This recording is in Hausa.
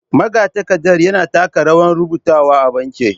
Magatakarda yana taka rawar rubutawa a banki.